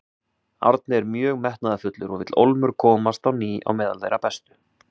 Árni er mjög metnaðarfullur og vill ólmur komast á ný á meðal þeirra bestu.